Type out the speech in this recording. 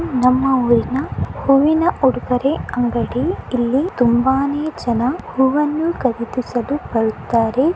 ನಮ್ಮ ಊರಿನ ಹೂವಿನ ಉಡುಗೊರೆ ಅಂಗಡಿ ಇಲ್ಲಿ ತುಂಬಾನೇ ಜನ ಹೂವನ್ನು ಖರೀದಿಸಲು ಬರುತ್ತಾರೆ.